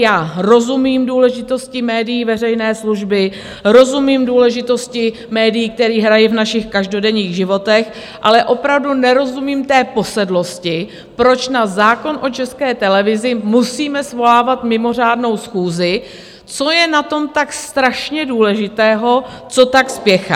Já rozumím důležitosti médií veřejné služby, rozumím důležitosti médií, kterou hrají v našich každodenních životech, ale opravdu nerozumím té posedlosti, proč na zákon o České televizi musíme svolávat mimořádnou schůzi, co je na tom tak strašně důležitého, co tak spěchá.